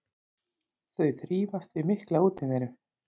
Þau þrífast við mikla útiveru.